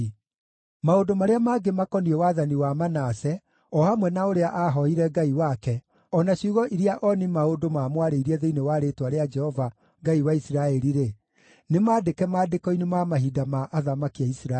Maũndũ marĩa mangĩ makoniĩ wathani wa Manase, o hamwe na ũrĩa aahooire Ngai wake, o na ciugo iria ooni-maũndũ maamwarĩirie thĩinĩ wa rĩĩtwa rĩa Jehova, Ngai wa Isiraeli-rĩ, nĩmandĩke maandĩko-inĩ ma mahinda ma athamaki a Isiraeli.